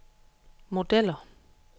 modeller